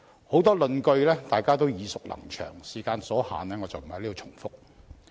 很多論據大家也耳熟能詳，時間所限，我便不在此重複。